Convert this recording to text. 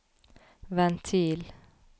ventil